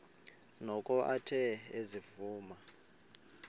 noko athe ezivuma